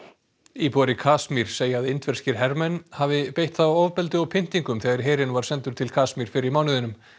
íbúar í Kasmír segja að indverskir hermenn hafi beitt þá ofbeldi og pyntingum þegar herinn var sendur til Kasmír fyrr í mánuðinum